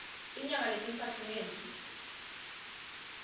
tinyanga letintsatfu ngembi